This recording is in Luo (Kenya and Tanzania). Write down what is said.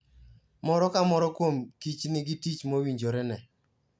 Moro ka moro kuom kich nigi tich mowinjorene.